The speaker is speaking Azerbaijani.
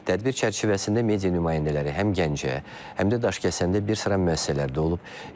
Tədbir çərçivəsində media nümayəndələri həm Gəncə, həm də Daşkəsəndə bir sıra müəssisələrdə olub.